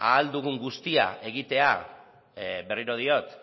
ahal dugun guztia egitea berriro diot